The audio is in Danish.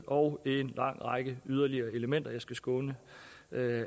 og en lang række yderligere elementer jeg skal skåne